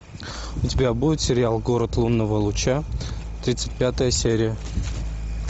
у тебя будет сериал город лунного луча тридцать пятая серия